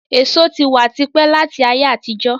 Èso tí wá típẹ̀ láti ayé àtijó